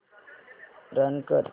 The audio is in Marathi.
रन कर